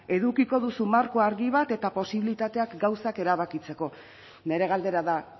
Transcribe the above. edukiko duzu marko argi bat eta posibilitateak gauzak erabakitzeko nire galdera da